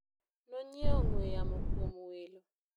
nonyiewo ong'we yamo kuom welo